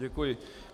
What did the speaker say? Děkuji.